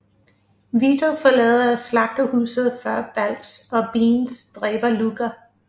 Vito forlader slagterhuset før Balls og Beans dræber Luca